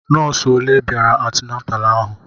Nọọsụ olé bịara antinatalu ahụ?